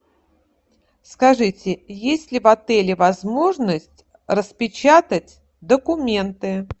скажите есть ли в отеле возможность распечатать документы